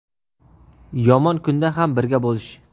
yomon kunda ham birga bolish.